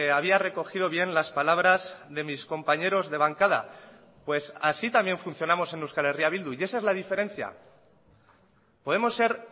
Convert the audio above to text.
había recogido bien las palabras de mis compañeros de bancada pues así también funcionamos en euskal herria bildu y esa es la diferencia podemos ser